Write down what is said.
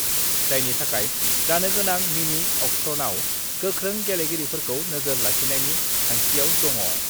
जायनि थाखाय जानो गोनां मिनि-अक्सनआव गोख्रों गेलेगिरिफोरखौ नोजोर लाखिनायनि थांखिआव दङ।